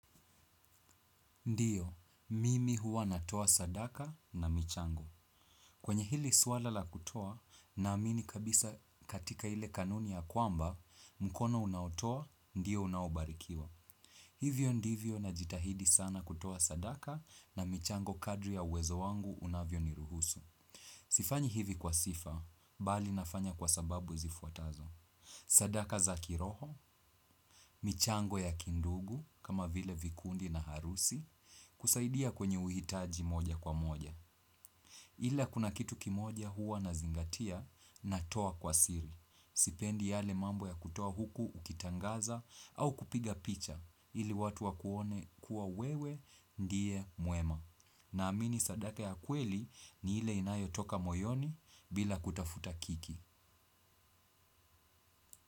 Ndio, mimi huwa natoa sadaka na michango. Kwenye hili swala la kutoa, na amini kabisa katika ile kanuni ya kwamba, mkono unaotoa, ndio unaobarikiwa. Hivyo ndivyo na jitahidi sana kutoa sadaka na michango kadri ya uwezo wangu unavyo ni ruhusu. Sifanyi hivi kwa sifa, mbali nafanya kwa sababu zifuatazo. Sadaka za kiroho, michango ya kindugu kama vile vikundi na harusi kusaidia kwenye uhitaji moja kwa moja. Ila kuna kitu kimoja huwa na zingatia na toa kwa siri. Sipendi yale mambo ya kutoa huku ukitangaza au kupiga picha ili watu wakuone kuwa wewe ndie mwema. Na amini sadaka ya kweli ni ile inayo toka moyoni bila kutafuta kiki.